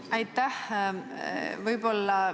Aitäh!